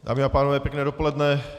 Dámy a pánové, pěkné dopoledne.